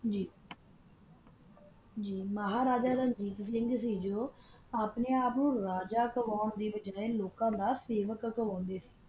ਮਹਾਰਾਜਾ ਰਣਜੀਤ ਸਿੰਘ ਨਾ ਆਪਣਾ ਆਪ ਨੂ ਰਾਜਾ ਖਾਵਾਂ ਦੀ ਦੀ ਬਜਾ ਲੋਕਾ ਨਾਲ ਕਾਮ ਕਰਾਂਦਾ ਸੀ